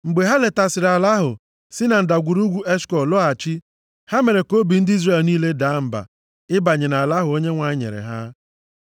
Mgbe ha letasịrị ala ahụ si na Ndagwurugwu Eshkọl lọghachi, ha mere ka obi ndị Izrel niile daa mba ịbanye nʼala ahụ Onyenwe anyị nyere ha.